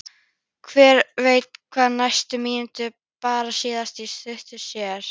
Hver veit hvað næstu mínútur bera síðan í skauti sér?